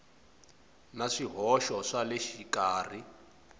na swihoxo swa le xikarhi